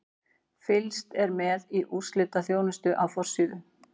Fylgst er með í úrslitaþjónustu á forsíðu.